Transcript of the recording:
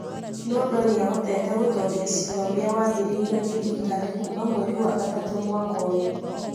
Nondo nĩ ahotete gũtooria ciira ũrĩa wambĩrĩirio nĩ thirikari kuuma mweri wa gatatũ mwaka ũyũ.